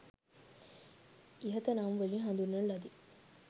ඉහත නම් වලින් හඳුන්වන ලදී.